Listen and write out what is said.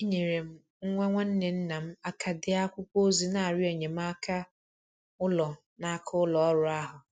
Enyere m nwa nwanne nna m aka dee akwụkwọ ozi n'arịọ enyemaka ụlọ n'aka ụlọ ọrụ ahụ.